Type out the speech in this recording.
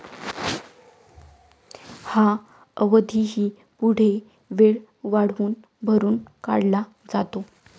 हा अवधीही पुढे वेळ वाढवून भरून काढला जातो.